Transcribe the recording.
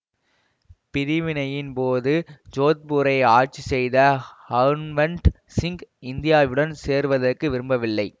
பிரிவினையின் போது ஜோத்பூரை ஆட்சி செய்த ஹன்வண்ட் சிங் இந்தியாவுடன் சேர்வதற்கு விரும்பவில்லை